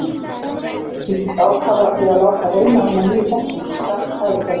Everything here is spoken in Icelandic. Hann fyllist ákafa við að láta reyna á hina nýju þekkingu strax og færi gefst.